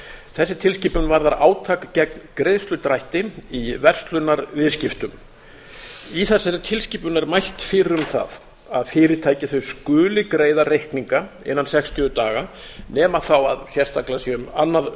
þessi tilskipun varðar átak gegn greiðsludrætti í verslunarviðskiptum í þessari tilskipun er mælt fyrir um það að fyrirtæki skuli greiða reikninga innan sextíu daga nema þá að sérstaklega sé um annað